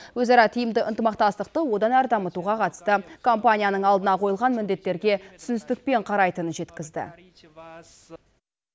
өзара тиімді ынтымақтастықты одан әрі дамытуға қатысты компанияның алдына қойылған міндеттерге түсіністікпен қарайтынын жеткізді